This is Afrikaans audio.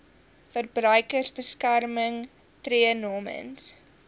verbruikersbeskermer tree namens